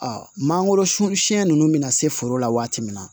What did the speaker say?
mangoro sun siɲɛ nunnu bɛna se foro la waati min na